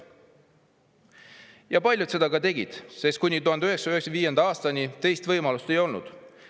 Ja paljud seda ka tegid, sest kuni 1995. aastani teist võimalust ei olnud.